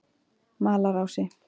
Malarási